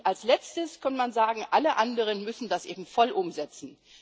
Und als Letztes kann man sagen Alle anderen müssen das eben voll umsetzen.